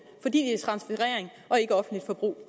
fordi det er transferering og ikke offentligt forbrug